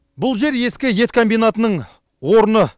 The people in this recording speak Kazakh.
бұл жер ескі ет комбинатының орны